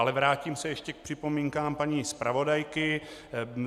Ale vrátím se ještě k připomínkám paní zpravodajky.